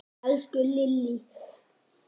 Elsku Lillý!